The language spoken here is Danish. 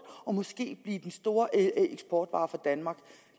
og måske blive den store eksportvare for danmark